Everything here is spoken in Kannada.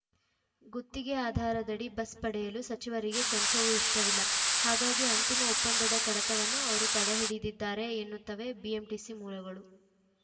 ಗುತ್ತಿಗೆ ಆಧಾರದಡಿ ಬಸ್‌ ಪಡೆಯಲು ಸಚಿವರಿಗೆ ಕೊಂಚವೂ ಇಷ್ಟವಿಲ್ಲ ಹಾಗಾಗಿ ಅಂತಿಮ ಒಪ್ಪಂದದ ಕಡತವನ್ನು ಅವರು ತಡೆ ಹಿಡಿದಿದ್ದಾರೆ ಎನ್ನುತ್ತವೆ ಬಿಎಂಟಿಸಿ ಮೂಲಗಳು